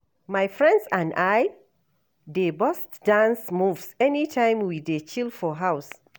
My friends and I dey burst dance moves anytime we dey chill for house.